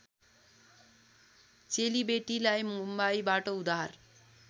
चेलीबेटीलाई मुम्बईबाट उद्धार